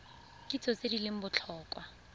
kitso tse di leng botlhokwa